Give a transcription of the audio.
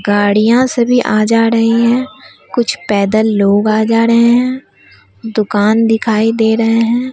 गाड़ियां सभी आ जा रही हैं कुछ पैदल लोग आ जा रहे हैं दुकान दिखाई दे रहे हैं।